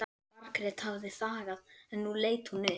Margrét hafði þagað en nú leit hún upp.